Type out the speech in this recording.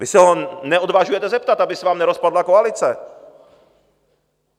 Vy se ho neodvažujete zeptat, aby se vám nerozpadla koalice.